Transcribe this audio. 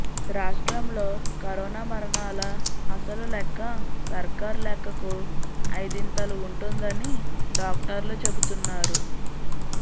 రాష్ర్టంలో corona మరణాల అసలు లెక్క సర్కార్ లెక్కకు ఐదింతలు ఉంటుందని డాక్టర్లు చెబుతున్నారు